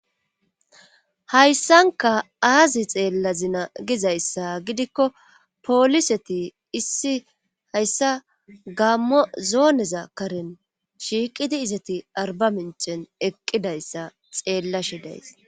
hayssanka aazi xeella zina gizayssa gidikko pooliseti issi hayssa gammo zooneza karen shiiqidi izati arba minchen eqqidayssa xeella shidays